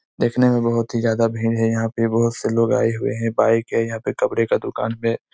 देखने में बहोत ही ज्यादा भीड़ है यहाँ पे बहोत से लोग आए हुए है बाइक है यहाँ पे कपड़े का दुकान पे--